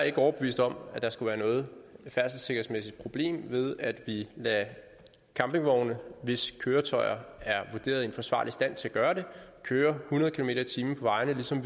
ikke overbevist om at der skulle være noget færdselssikkerhedsmæssigt problem ved at vi lader campingvogne hvis køretøjer er vurderet i en forsvarlig stand køre hundrede kilometer per time på vejene ligesom